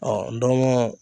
Ɔ ndɔnmɔn